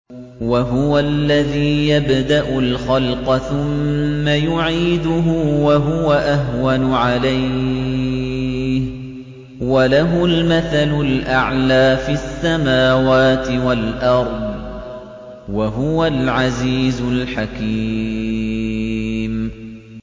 وَهُوَ الَّذِي يَبْدَأُ الْخَلْقَ ثُمَّ يُعِيدُهُ وَهُوَ أَهْوَنُ عَلَيْهِ ۚ وَلَهُ الْمَثَلُ الْأَعْلَىٰ فِي السَّمَاوَاتِ وَالْأَرْضِ ۚ وَهُوَ الْعَزِيزُ الْحَكِيمُ